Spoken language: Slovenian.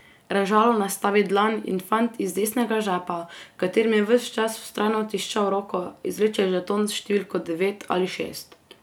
Režalo nastavi dlan in fant iz desnega žepa, v katerem je ves čas vztrajno tiščal roko, izvleče žeton s številko devet ali šest.